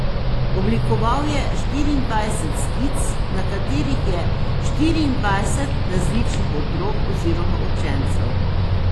Oblikoval je štiriindvajset skic, na katerih je štiriindvajset različnih otrok oziroma učencev.